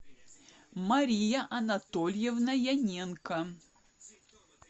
мария анатольевна яненко